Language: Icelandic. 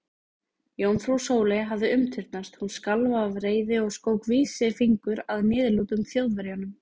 Jómfrú Sóley hafði umturnast, hún skalf af reiði og skók vísifingur að niðurlútum Þjóðverjanum.